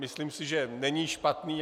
Myslím si, že není špatný.